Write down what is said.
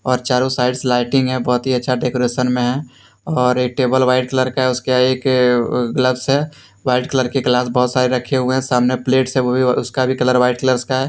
और चारों साइड से लाइटिंग है बहुत ही अच्छा डेकोरेशन में है और एक टेबल व्हाइट कलर का है उसके एक ग्लव्स है व्हाइट कलर के ग्लव्स बहुत सारे रखे हुए हैं सामने प्लेट्स है वो भी उसका भी कलर व्हाइट कलरस का है।